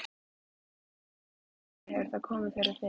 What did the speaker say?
Hann spurði önuglega: Hefur það komið fyrir þig?